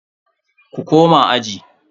Ku koma aji.